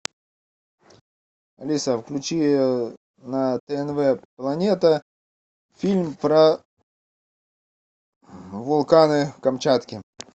алиса включи на тнв планета фильм про вулканы камчатки